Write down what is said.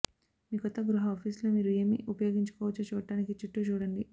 మీ కొత్త గృహ ఆఫీసులో మీరు ఏమి ఉపయోగించవచ్చో చూడడానికి చుట్టూ చూడండి